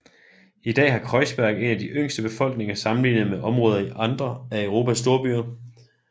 I dag har Kreuzberg en af de yngste befolkninger sammenlignet med områder i andre af Europas storbyer